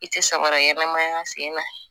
I tɛ samara ɲɛnɛmaya sen na